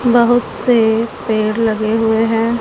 बहुत से पेड़ लगे हुए हैं।